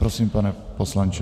Prosím, pane poslanče.